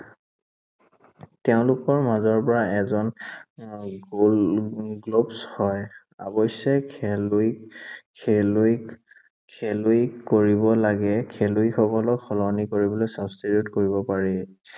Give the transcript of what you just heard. তেওঁলোকৰ মাজৰ পৰা এজন উম গʼল, হয়। অৱশ্যে খেলুৱৈ, খেলুৱৈ, খেলি কৰিব লাগে। খলুৱৈসকলক সলনি কৰিবলৈ substitute কৰিব পাৰি।